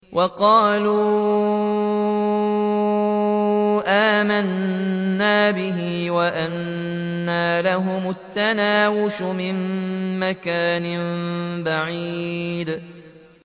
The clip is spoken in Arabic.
وَقَالُوا آمَنَّا بِهِ وَأَنَّىٰ لَهُمُ التَّنَاوُشُ مِن مَّكَانٍ بَعِيدٍ